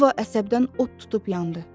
Yeva əsəbdən od tutub yandı.